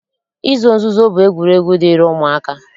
Izo nzuzo bụ egwuregwu dịịrị ụmụaka